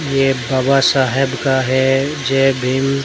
ये भवासा हेब का है जय भीम।